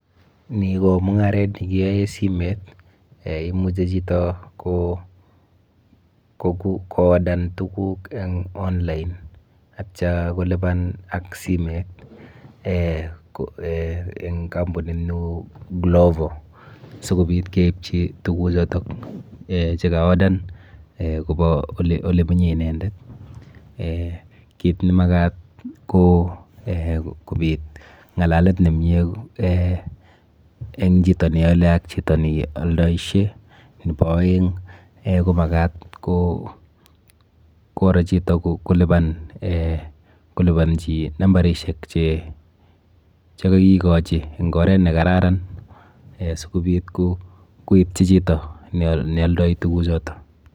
Ni ko mung'aret nekiyae simet eh imuchi chito ko odan tuguk eng online atya kolipan ak simet eh eng kampunit neu glovo sokobit keipchi tukuchoto eh chekaodan kopa ole mi inendet. Kit nemakat ko eh kobit ng'alalet nemie eh eng chito neale ak chito nealdaishe. Nepo aeng ko makat koro chito kolipanchi nambarishek chekakikochi eng oret nekararan sikobit koitchi chito nealdoi tuguchoto.